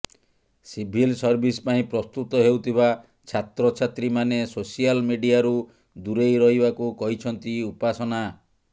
ସିଭିଲି service ପାଇଁ ପ୍ରସ୍ତୁତ ହେଉଥିବା ଛାତ୍ରଛାତ୍ରୀମାନେ ସୋସିଆଲ ମିଡିଆରୁ ଦୂରେଇ ରହିବାକୁ କହିଛନ୍ତି ଉପାସନା